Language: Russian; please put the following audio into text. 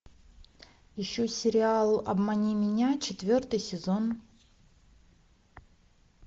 ищу сериал обмани меня четвертый сезон